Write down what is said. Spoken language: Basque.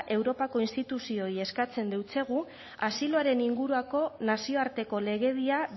europako instituzioei eskatzen deutsegu asiloaren inguruako nazioarteko legedia